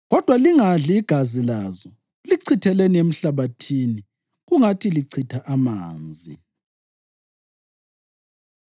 Kodwa lingadli igazi lazo, lichitheleni emhlabathini kungathi lichitha amanzi.”